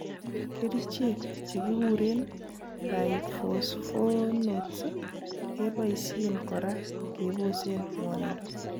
Kerichek chekikuren bisphosphonates keboisien kora kebosen ng'wonindo.